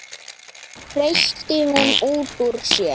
hreytti hún út úr sér.